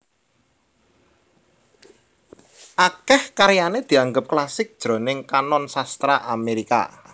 Akèh karyané dianggep klasik jroning kanon sastra Amérika